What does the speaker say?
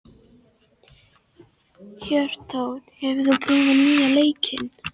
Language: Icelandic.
Hjörtþór, hefur þú prófað nýja leikinn?